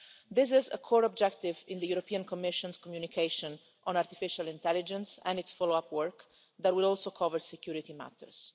This is a core objective in the Commission's communication on artificial intelligence and in the follow up work that will also cover security matters.